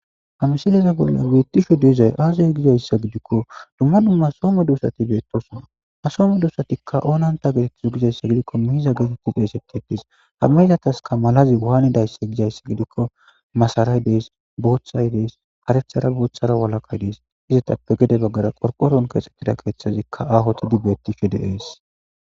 ha msileza bolla beettisho deezay aazay gizayssa gidikko dumma dumma soome duosati beettosina asoome duosatikka oonanta geetettizo gizayssa gidikko mihiza geetetti f eeseti ettis hamihzataska malazi waaanidayssa gizayssi gidikko masaray dees boothay dees karefthara boothara walakay dees izetappe gede baggara qorqoron keexettida keeththazikka ahotidi beettisho de ees